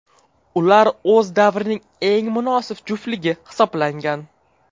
Ular o‘z davrining eng munosib juftligi hisoblangan.